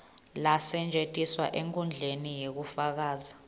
lasetjentiswa enkhundleni yekufundza